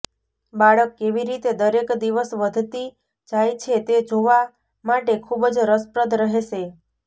બાળક કેવી રીતે દરેક દિવસ વધતી જાય છે તે જોવા માટે ખૂબ જ રસપ્રદ રહેશે